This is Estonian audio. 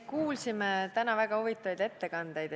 Me kuulsime täna väga-väga huvitavaid ettekandeid.